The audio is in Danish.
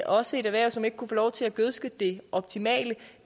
også et erhverv som ikke kunne få lov til at gødske det optimale